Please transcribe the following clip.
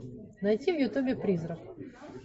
найти в ютубе призрак